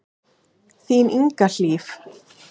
Þín Inga Hlíf.